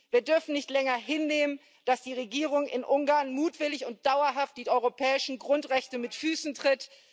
7. Wir dürfen nicht länger hinnehmen, dass die Regierung in Ungarn mutwillig und dauerhaft die europäischen Grundrechte mit Füßen tritt.